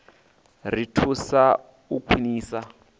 ri thusa kha u khwinisa